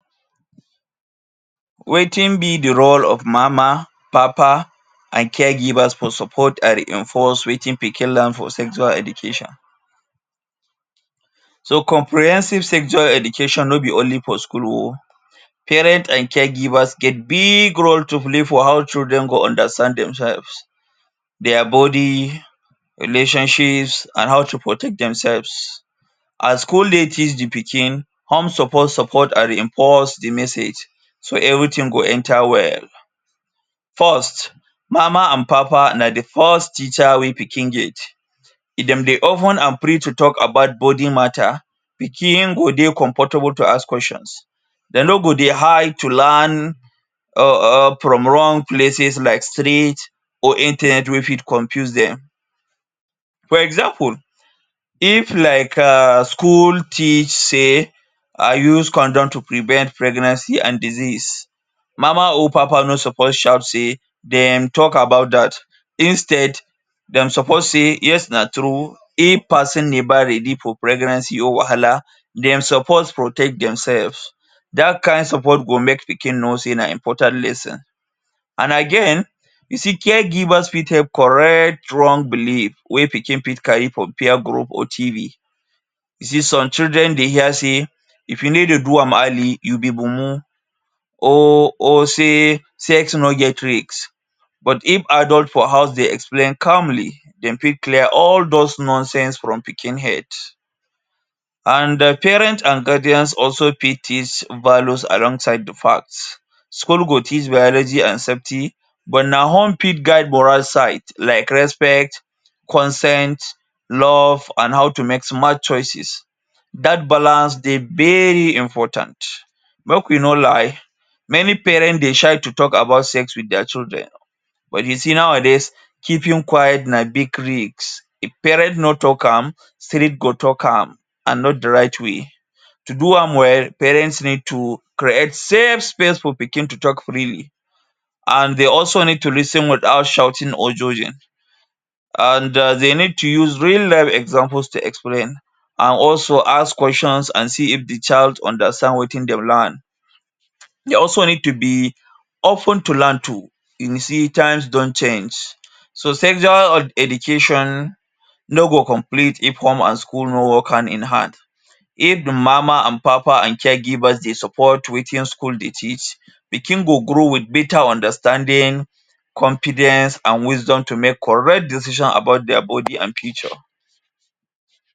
Wetin be di role of mama, papa, and caregivers for support are reinforced wetin pikin learn for sexual education. So comprehensive sexual education no be only for school o. Parents and caregivers get biig role to play for how children go understand themselves, dia bodi, relationships, and how to protect themselves. A school teach di pikin, home support support are reinforce di message so everything go enter well. First, mama and papa na di first teacher wey pikin get. If dem dey open and free to tok about bodi mata, pikin go dey comfortable to ask questions, dem no go dey hide to learn um um from wrong places like street or internet wey fit confuse dem. For example, if like um school teach say: ‘’I use condom to prevent pregnancy and disease’’, mama or papa no suppose shout sey dem tok about dat. Instead, dem suppose say: ‘’Yes, na true. If pesin never ready for pregnancy or wahala, dem suppose protect themselves’’. Dat kind support go make pikin know sey na important lesson. And again you see caregivers fit help correct wrong belief wey pikin fit carry for peer group or TV. See some children dey hear say: ‘’if you need to do am early, you be mumu’’, or or say: ‘’Sex no get risk’’ but if adult for house dey explain calmly, dem fit clear all those nonsense from pikin head. And um parents and guardians also fit teach values alongside di facts. School go teach Biology and Safety, but na home fit guide moral side like respect, consent, love, and how to make smart choices. Dat balance dey very important. Make we no lie, many parents dey shy to tok about sex wit dia children but you see nowadays, keeping quiet na big risk. If parent no tok am, street go tok am, and not di right way. To do am well, parents need to create safe space for pikin to tok freely and de also need to reason without shouting or judging. And um de need to use real life examples to explain and also ask questions and see if di child understand wetin de learn. De also need to be open to learn too. You see times don change. So sexual education no go complete if home and school no work hand in hand. If mama and papa and caregivers dey support wetin school dey teach, pikin go grow wit beta understanding, confidence, and wisdom to make correct decision about dia bodi and future.